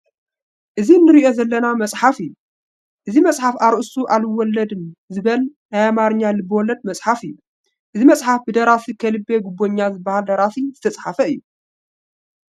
እዚ እንርእዮ ዘለና መፅሓፍ እዩ። እዚ መፅሓፍ ኣርእሰቱ ኣልወለድም ዝበል ናይ ኣማሓርኛ ልበወለድ መፅሓፍ እዩ። እዚ መፅሓፍ ብ ደራሲ ከልቤ ጉበኛ ዝበሃል ደራሲ ዝተፀሓፈ እዩ።